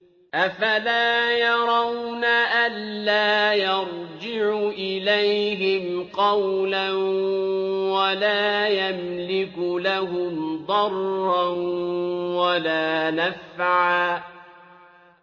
أَفَلَا يَرَوْنَ أَلَّا يَرْجِعُ إِلَيْهِمْ قَوْلًا وَلَا يَمْلِكُ لَهُمْ ضَرًّا وَلَا نَفْعًا